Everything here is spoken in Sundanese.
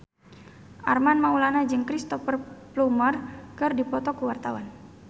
Armand Maulana jeung Cristhoper Plumer keur dipoto ku wartawan